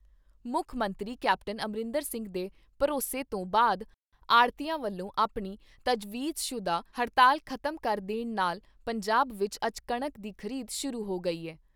ਮੁੱਖ ਮੰਤਰੀ ਕੈਪਟਨ ਅਮਰਿੰਦਰ ਸਿੰਘ ਦੇ ਭਰੋਸੇ ਤੋਂ ਬਾਅਦ ਆੜ੍ਹਤੀਆਂ ਵੱਲੋਂ ਆਪਣੀ ਤਜਵੀਜ਼ਸ਼ੁਦਾ ਹੜਤਾਲ ਖਤਮ ਕਰ ਦੇਣ ਨਾਲ ਪੰਜਾਬ ਵਿਚ ਅੱਜ ਕਣਕ ਦੀ ਖ਼ਰੀਦ ਸ਼ੁਰੂ ਹੋ ਗਈ ਏ।